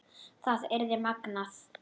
Það yrði magnað.